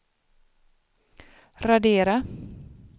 radera